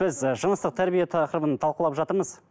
біз ііі жыныстық тәрбие тақырыбын талқылып жатырмыз